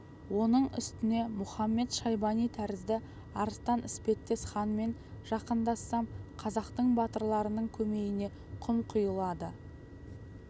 оның үстіне мұхамед-шайбани тәрізді арыстан іспеттес ханмен жақындассам қазақтың батырларының көмейіне құм құйылады